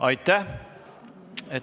Aitäh!